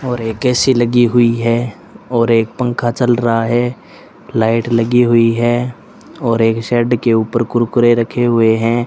और एक ए_सी लगी हुई है और एक पंखा चल रहा है लाइट लगी हुई है और एक सेड के ऊपर कुरकुरे रखे हुए हैं।